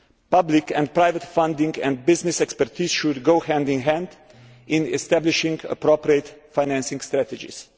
Public and private funding and business expertise should go hand in hand in establishing appropriate financing strategies.